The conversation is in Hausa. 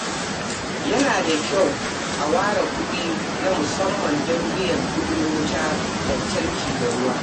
Yana da kyau a ware kuɗi na musamman don biyan kuɗi wutar lantarki da ruwa.